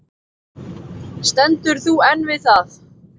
Stendur þú enn við það?